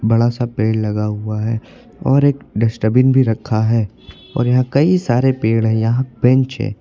बड़ा सा पेड़ लगा हुआ है और एक डस्टबिन भी रखा है और यहां कई सारे पेड़ है यहां बेंच है।